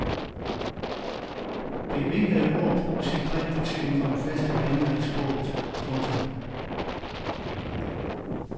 Bevingede ord bruges i bred betydning om faste vendinger i sproget. punktum